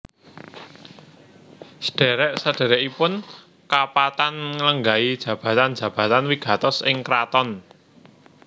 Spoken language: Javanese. Sadhèrèk sadhèrèkipun kapatan nglenggahi jabatan jabatan wigatos ing kraton